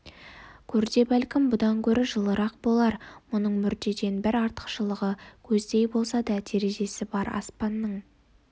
көрде бәлкім бұдан гөрі жылырақ болар мұның мүрдеден бір артықшылығы көздей болса да терезесі бар аспанның